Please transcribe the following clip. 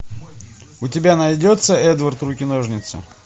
у тебя найдется эдвард руки ножницы